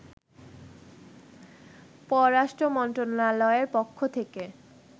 পররাষ্ট্র মন্ত্রণালয়ের পক্ষ থেকে